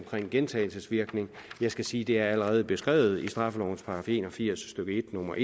gentagelsesvirkning jeg skal sige det allerede er beskrevet i straffelovens § en og firs stykke en nummer